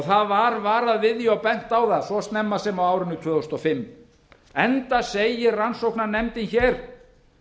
það var varað við því og bent á það svo snemma sem á árinu tvö þúsund og fimm enda segir rannsóknarnefndin hér